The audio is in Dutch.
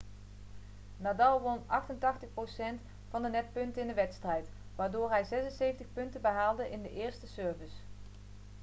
nadal won 88% van de netpunten in de wedstrijd waardoor hij 76 punten behaalde in de eerste service